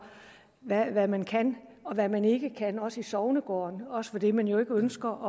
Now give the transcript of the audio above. hvad man kan og hvad man ikke kan også i sognegårde også fordi man jo ikke ønsker